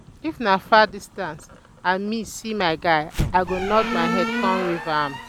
if na far distance and me see my guy i go nod my head con wave am